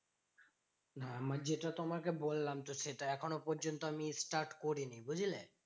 না আমার যেটা তোমাকে বললাম তো সেটা। এখনো পর্যন্ত আমি start করিনি বুঝলে?